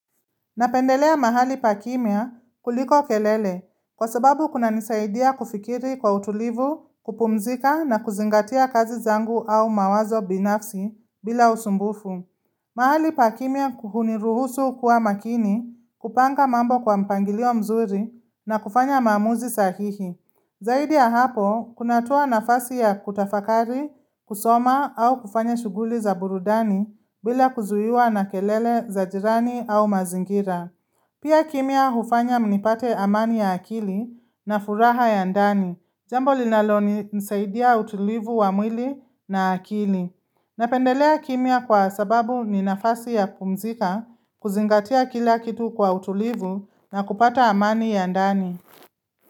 Napendelea mahali pa kimya kuliko kelele kwa sababu kunanisaidia kufikiri kwa utulivu, kupumzika na kuzingatia kazi zangu au mawazo binafsi bila usumbufu. Mahali pa kimya huniruhusu kuwa makini, kupanga mambo kwa mpangilio mzuri na kufanya maamuzi sahihi. Zaidi ya hapo, kunatoa nafasi ya kutafakari, kusoma au kufanya shughuli za burudani bila kuzuiwa na kelele za jirani au mazingira. Pia kimya hufanya mnipate amani ya akili na furaha ya ndani. Jambo linalonisaidia utulivu wa mwili na akili. Napendelea kimia kwa sababu ni nafasi ya kumzika, kuzingatia kila kitu kwa utulivu na kupata amani ya ndani.